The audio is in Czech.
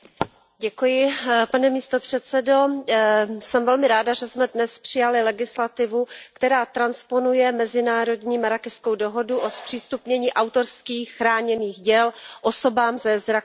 Pane předsedající, jsem velmi ráda, že jsme dnes přijali legislativu, která transponuje mezinárodní Marrákešskou dohodu o zpřístupnění autorských chráněných děl osobám se zrakovým postižením.